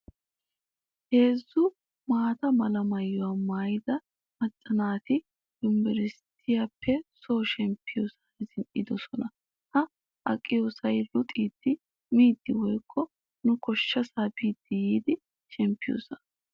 Heezzu maata mala maayuwaa maayida macca naati yunivurushiyaappe soo shemppiyosan zin"idosona. Ha aqiyoosay luxidi, miidi woykko nu koyyoosaa biidi yi shemppiyoosaa.